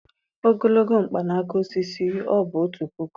ogologo mkpanaka osisi, ọ̀ bụ otu puku